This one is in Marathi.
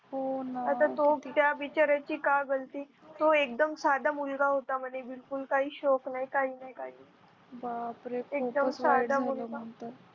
आता त्या बिचाऱ्याची काय गलती तो एकदम साधा मुलगा होता म्हणे एकदम बिलकुलकाही नाही काही शोक नही काही नाही